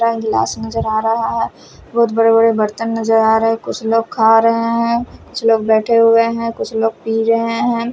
और गिलास नजर आ रहा है बहुत बड़े बड़े बर्तन नजर आ रहे हैं कुछ लोग खा रहे हैं कुछ लोग बैठे हुए हैं कुछ लोग पी रहे हैं।